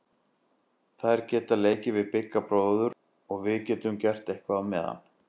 Þær geta leikið við Bigga bróður og við getum gert eitthvað á meðan.